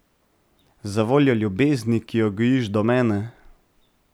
Zavoljo ljubezni, ki jo gojiš do mene.